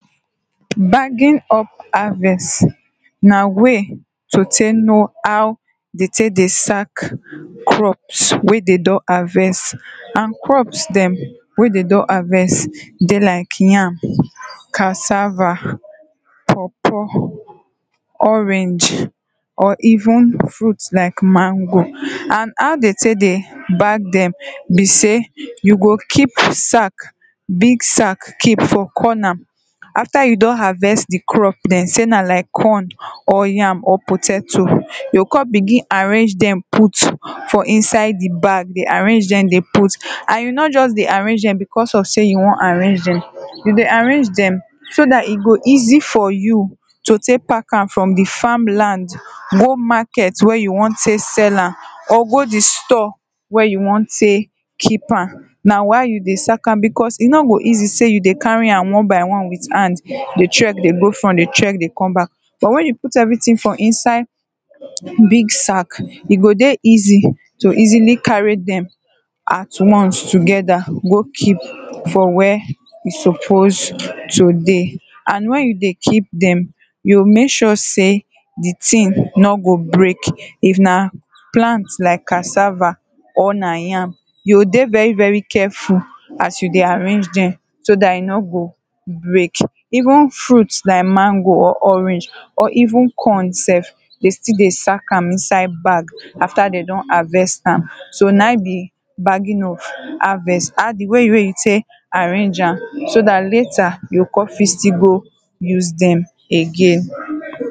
Bagging up harvest, na way to take know how dem take dey sack crops wey dem don harvest. And crops dem wey dem don harvest, dey like yam, cassava, pawpaw, orange, or even fruit like mango. And how dem dey take dey bag dem be sey, you go keep sack, big sack keep for corner. After you don harvest di crop dem sey na like corn, or yam, or potato, you go come begin arrange dem put for inside di bag, dey arrange dem dey put, and you nor just dey arrange dem because of sey yo wan arrange dem, you dey arrange dem so dat e go easy for you, to take park am from di farm land go market wey you wan take sell am, or go di store wen you wan take keep am. Na why you dey sack am, because e nor go easy sey you dey carry am one by one with hand, dey trek dey go front dey trek dey come back. But wen put everything for inside big sack, e go dey easy to easily carry dem at once together go keep for where e suppose to dey. And wen you dey keep dem, you go make sure sey, di thing nor go break, if na plant like cassava or na yam, you go dey very very careful as you dey arrange dem so dat e nor go break. Even fruit like mango, or orange or even corn sef, dey still dey sack am inside bag after dem do harvest am, so na im be bagging of harvest. Di way wey you take arrange am so latter you go come fit still go use de again.